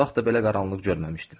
Heç vaxt da belə qaranlıq görməmişdim.